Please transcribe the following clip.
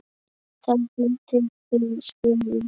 Þá fluttir þú suður.